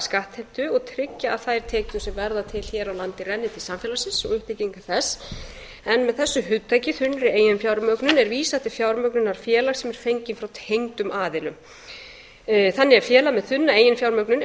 skattheimtu og tryggja að þær tekjur sem verða til hér á landi renni til samfélagsins og uppbyggingu þess en með þessu hugtakinu þunnri eiginfjármögnun er vísað til fjármögnunar félags sem er fengin frá tengdum aðilum þannig er félag með þunna eiginfjármögnun ef